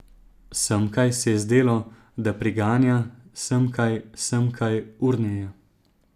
Semkaj, se je zdelo, da priganja, semkaj, semkaj, urneje.